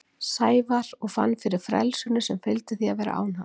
Sævar og fann fyrir frelsinu sem fylgdi því að vera án hans.